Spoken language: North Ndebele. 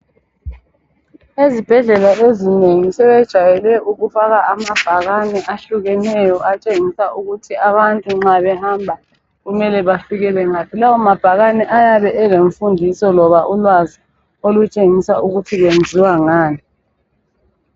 Ezibhedlela ezinengi sebejayele ukufaka amabhakani ahlukeneyo atshengisa ukuthi abantu nxa behamba kumele bafikele ngaphi. Lawo mabhakane ayabe elemfundiso loba ulwazi olutshengisa ukuthi kwenziwa ngani.